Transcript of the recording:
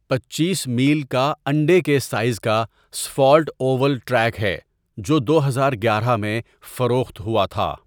پنچیس میل کا انڈے کے سائز کا اسفالٹ اوول ٹریک ہے، جو دو ہزار گیارہ میں فروخت ہوا تھا۔